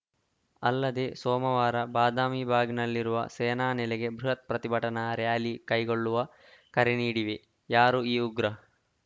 ಅಲ್ಲದೆ ಸೋಮವಾರ ಬದಾಮಿಬಾಗ್‌ನಲ್ಲಿರುವ ಸೇನಾ ನೆಲೆಗೆ ಬೃಹತ್‌ ಪ್ರತಿಭಟನಾ ರಾಲಿ ಕೈಗೊಳ್ಳುವ ಕರೆ ನೀಡಿವೆ ಯಾರು ಈ ಉಗ್ರ